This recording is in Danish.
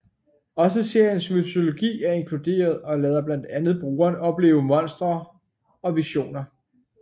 Også seriens mytologi er inkluderet og lader blandt andet brugeren opleve Monsteret og visioner